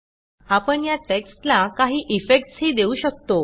आपण या टेक्स्टला काही इफेक्ट्स ही देऊ शकतो